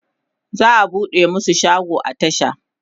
za'a buɗe masu shago a tasha